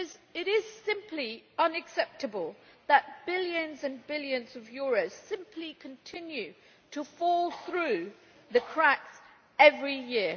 It is simply unacceptable that billions and billions of euros simply continue to fall through the cracks every year.